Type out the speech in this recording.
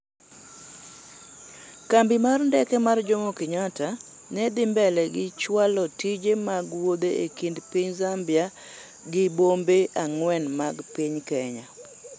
Kambi mar ndeke mar jomokenyatta ne dhi mbele gi chwalo tije mag wuoth e kind piny Zambia gibombe ang'wen mag piny Kenya